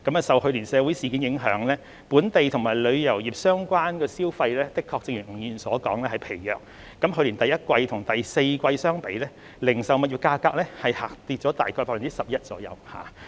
受去年的社會事件影響，本地及旅遊業相關的消費的確正如吳議員所說是疲弱的，去年第一季與第四季相比，零售物業價格下跌大約 11%。